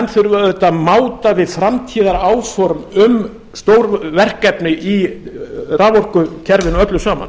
þurfa auðvitað að máta við framtíðaráform um stórverkefni í raforkukerfinu öllu saman